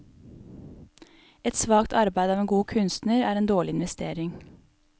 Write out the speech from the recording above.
Et svakt arbeide av en god kunstner er en dårlig investering.